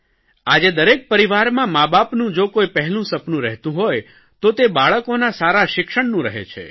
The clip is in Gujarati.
આજે દરેક પરિવારમાં માબાપનું જો કોઇ પહેલું સપનું રહેતું હોય તો તે બાળકોના સારા શિક્ષણનું રહે છે